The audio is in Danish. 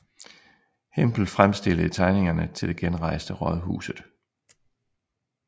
Hempel fremstillede tegningerne til det genrejste rådhuset